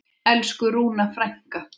Elsku Rúna frænka.